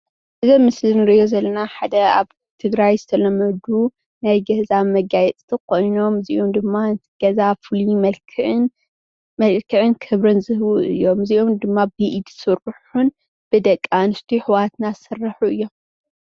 እዚ ኣብ ምስሊ እንሪኦ ዘለና ሓደ ኣብ ትግራይ ዝተለመዱ ናይ ገዛ መጋየፂታት ኾይኖምእዮም። እዚኦም ድማ ገዛ ፉሉይ መልክዕን ክብርን ዝህቡ እዮሞ ።እዙይ ድማ ብኢድ ዝስርሑን ብደቅኣንስትዮ ኣሕዋትና ዝስርሑ እዮም።